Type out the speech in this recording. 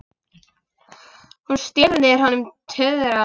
Hún stríðir honum tuðran.